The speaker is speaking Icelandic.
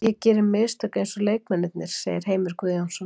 Ég geri mistök eins og leikmennirnir segir Heimir Guðjónsson.